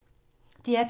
DR P2